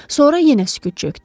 Sonra yenə sükut çökdü.